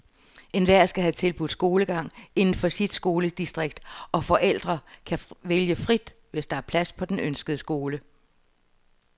Enhver skal have tilbudt skolegang inden for sit skoledistrikt, og forældre kan vælge frit, hvis der er plads på den ønskede skole.